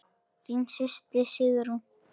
Þín systir, Sigrún.